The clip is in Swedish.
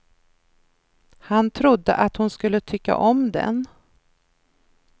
Han trodde att hon skulle tycka om den.